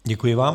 Děkuji vám.